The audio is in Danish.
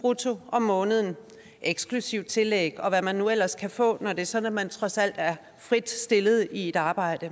brutto om måneden eksklusiv tillæg og hvad man nu ellers kan få når det er sådan at man trods alt er frit stillet i et arbejde